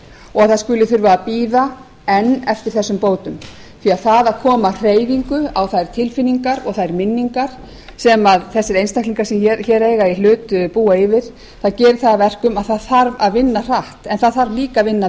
og að það skuli þurfa að bíða enn eftir þessum bótum því að það að koma hreyfingu á þær tilfinningar og þær minningar sem þessir einstaklingar sem hér eiga í hluta búa yfir gerir það að verkum að það þarf að vinna hratt en það þarf líka að vinna